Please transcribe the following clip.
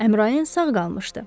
Əmrayın sağ qalmışdı.